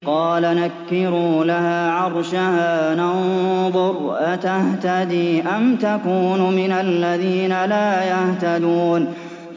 قَالَ نَكِّرُوا لَهَا عَرْشَهَا نَنظُرْ أَتَهْتَدِي أَمْ تَكُونُ مِنَ الَّذِينَ لَا يَهْتَدُونَ